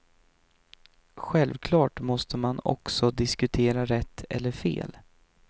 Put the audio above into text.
Självklart måste man också diskutera rätt eller fel.